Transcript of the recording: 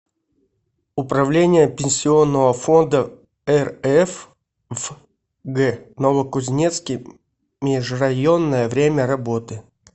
управление пенсионного фонда рф в г новокузнецке межрайонное время работы